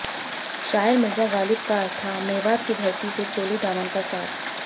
शायर मिर्ज़ा ग़ालिब का था मेवात की धरती से चोली दामन का साथ